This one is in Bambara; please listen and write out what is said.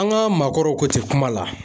An ka maakɔrɔw kun ti kuma la